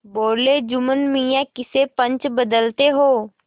बोलेजुम्मन मियाँ किसे पंच बदते हो